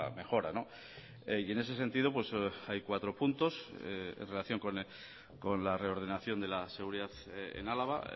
mejora y en ese sentido hay cuatro puntos en relación con la reordenación de la seguridad en álava